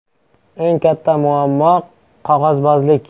“Eng katta muammo - qog‘ozbozlik.